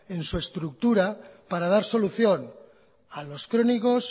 en su estructura para dar solución a los crónicos